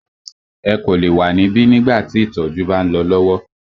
Ẹ kò lè wa níbí nígbà tí ìtọjú bá ń lọ lọwọ!